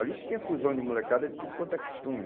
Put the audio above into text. Ali tinha fusão de molecada de tudo quanto é costume.